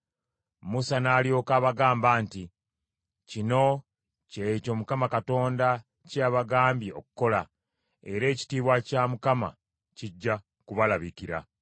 Musa n’alyoka abagamba nti, “Kino kye kyo Mukama Katonda kye yabagambye okukola, era ekitiibwa kya Mukama kijja kubalabikira.”